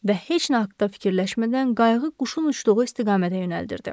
Və heç nə haqda fikirləşmədən qayğı quşun uçduğu istiqamətə yönəldirdi.